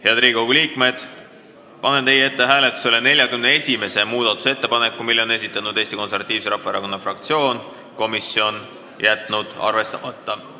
Head Riigikogu liikmed, panen hääletusele 41. muudatusettepaneku, mille on esitanud Eesti Konservatiivse Rahvaerakonna fraktsioon ja mille komisjon on jätnud arvestamata.